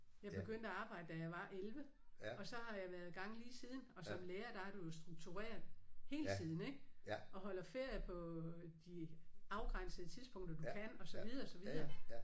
Jeg begyndte at arbejde da jeg var 11 og så har jeg været i gang lige siden og som lærer der er du jo struktureret hele tiden ik og holder ferie på de afgrænsede tidspunkter du kan og så videre og så videre